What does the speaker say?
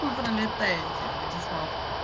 вы пролетаети владислав